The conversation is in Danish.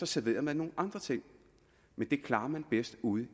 serverede man nogle andre ting men det klarer man bedst ude